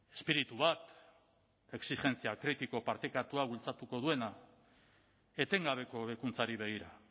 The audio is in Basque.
espiritu bat exijentzia kritiko partekatua bultzatuko duena etengabeko hobekuntzari begira